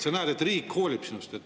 Sa näed, et riik hoolib sinust.